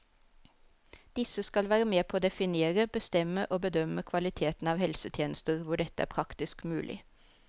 Disse skal være med på å definere, bestemme og bedømme kvaliteten av helsetjenester hvor dette er praktisk mulig.